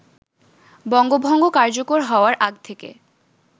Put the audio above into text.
বঙ্গভঙ্গ কার্যকর হওয়ার আগ থেকে